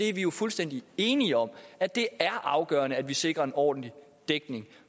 er jo fuldstændig enige om at det er afgørende at vi sikrer en ordentlig dækning